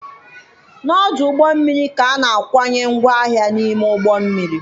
Na ọdụ ụgbọ mmiri ka a na-akwanye ngwaahịa n'ime ụgbọ mmiri.